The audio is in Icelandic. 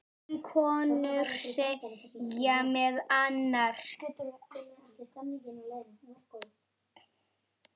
Um konur segir meðal annars